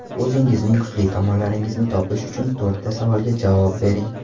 O‘zingizning kuchli tomonlaringizni topish uchun, to‘rtta savolga javob bering.